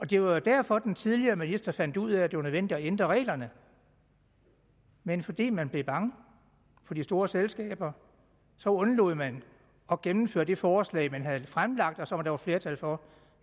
det var jo derfor den tidligere minister fandt ud af at det var nødvendigt at ændre reglerne men fordi man blev bange for de store selskaber så undlod man at gennemføre det forslag man havde fremsat og som der var flertal for